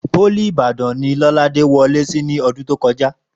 Pólì Ìbàdàn ni Lọ́ládé wọlé sí ní ọdún tó kọjá